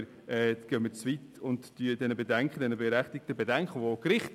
Die Gerichte haben zu den Fragen der Wegweisung berechtigte Bedenken geäussert.